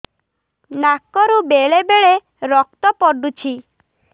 ନାକରୁ ବେଳେ ବେଳେ ରକ୍ତ ପଡୁଛି